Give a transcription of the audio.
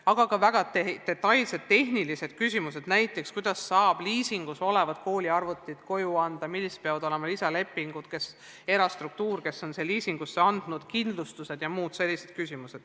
Oli ka väga detailseid tehnilisi küsimusi, näiteks kuidas saab liisitud kooliarvutit koju anda, millised peavad olema lisalepingud, kuidas käitub erastruktuur, kes on arvutid liisingule andnud, millised on kindlustused jms.